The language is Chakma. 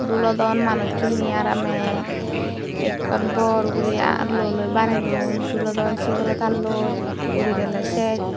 dulodon manucchune aramey ekkan bor guri luoloi bane don dulodon singolo tarloi uri gele ses.